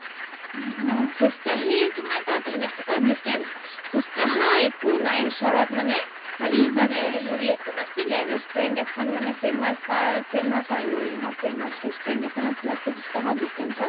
খোজ কাঢ়ি তোমাৰ তাত সেনেকুৱা distance খোজ কাঢ়া একো নাই মানে খালি তাত হেৰি এখন আছিলে restaurant এখন famous তাৰ famous আৰু ৰোয়িংৰ famous restaurant এখন আছিলে খোজ কাঢ়া distance